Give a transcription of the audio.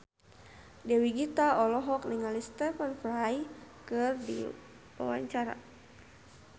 Dewi Gita olohok ningali Stephen Fry keur diwawancara